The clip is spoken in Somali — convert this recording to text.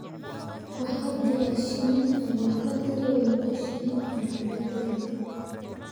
waxaa jira shinni aan waxba tarayn iyo shinni aan waxba tarayn